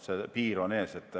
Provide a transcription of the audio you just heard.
Piir on ees.